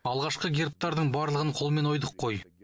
алғашқы гербтардың барлығын қолмен ойдық қой